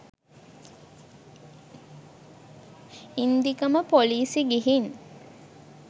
ඉන්දිකම police ගිහින්